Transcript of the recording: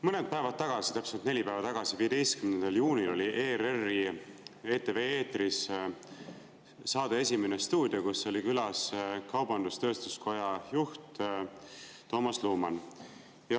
Mõned päevad tagasi, täpselt neli päeva tagasi, 15. juunil oli ERR‑i ETV eetris saade "Esimene stuudio", kus oli külas kaubandus‑tööstuskoja juht Toomas Luman.